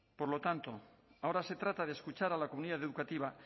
por lo tanto ahora se trata de escuchar a la comunidad educativa